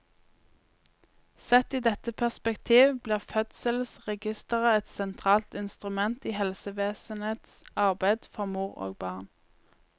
Sett i dette perspektiv blir fødselsregisteret et sentralt instrument i helsevesenets arbeid for mor og barn.